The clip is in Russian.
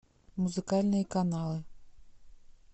музыкальные каналы